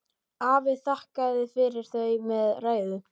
Afi þakkaði fyrir þau með ræðu.